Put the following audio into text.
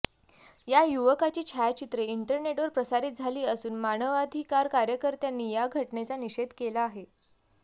या युवकाची छायाचित्रे इंटरनेटवर प्रसारीत झाली असून मानवाधिकार कार्यकर्त्यांनी या घटनेचा निषेध केला आहे